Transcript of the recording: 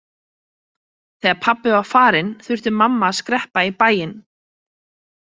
Þegar pabbi var farinn þurfti mamma að skreppa í bæinn.